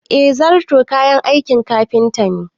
Eh zarto kayan aikin kafinta ne